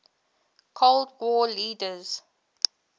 cold war leaders